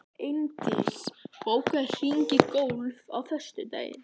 Eindís, bókaðu hring í golf á föstudaginn.